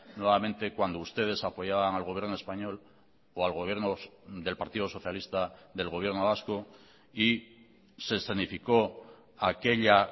nuevamente cuando ustedes apoyaban al gobierno español o al gobierno del partido socialista del gobierno vasco y se escenificó aquella